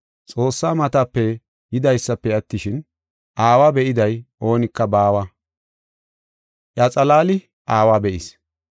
Xoossaa matape yidaysafe attishin, Aawa be7iday oonika baawa; iya xalaali Aawa be7is.